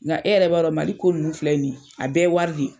Nca e yɛrɛ b'a dɔn Mali ko ninnu filɛ nin ye, a bɛɛ ye wari le ye.